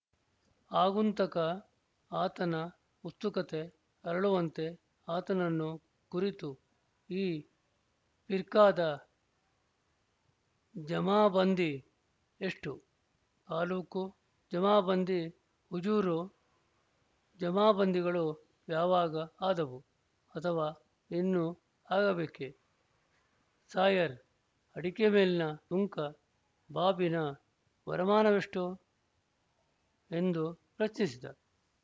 ಆಗುಂತಕ ಆತನ ಉತ್ಸುಕತೆ ಅರಳುವಂತೆ ಆತನನ್ನು ಕುರಿತು ಈ ಫಿರ್ಕಾದ ಜಮಾಬಂದಿ ಎಷ್ಟು ತಾಲ್ಲೂಕು ಜಮಾಬಂದಿ ಹುಜೂರು ಜಮಾಬಂದಿಗಳು ಯಾವಾಗ ಆದವು ಅಥವಾ ಇನ್ನು ಆಗಬೇಕೆ ಸಾಯರ್ ಅಡಿಕೆ ಮೇಲಿನ ಸುಂಕ ಬಾಬಿನ ವರಮಾನವೆಷ್ಟು ಎಂದು ಪ್ರಶ್ನಿಸಿದ